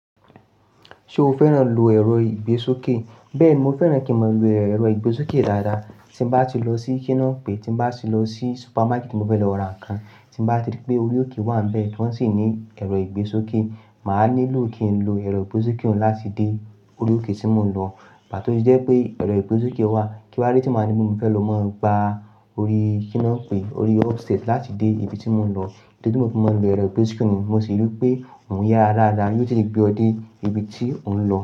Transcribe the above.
Ṣé o fẹ́ràn lo ẹ̀rọ ìgbésókè? Bẹ́ẹ̀ni, mo fẹ́ràn kí n máa lo ẹ̀rọ ìgbésókè dáadáa. Tí mo bá ti lọ sí kí n pé tí mo bá ti lọ sí supermarket tí mo fẹ́ lọ ra nǹkan tí mo bá rí pé orí òkè wà níbẹ̀ kí wọ́n sì ní ẹ̀rọ ìgbésókè, màá nílò kí n lo ẹ̀rọ ìgbésókè náà láti dé orí òkè tí mo ń lọ. Igbà tó jẹ́ pé ẹ̀rọ ìgbésókè wà, kí wá rí tí mo máa ní bí mo fẹ́ lọ máa gba orí kí lo n pé orí upstairs láti dé ibi tí mo ń lọ. Nítorí mo fi máa ń lo ẹ̀rọ ìgbésókè mi, mo sì rí pé òun yára dáadáa, yóò sì ti gbé ọ dé ibi tí òun ń lọ.